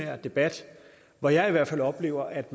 jeg debat hvor jeg i hvert fald oplever at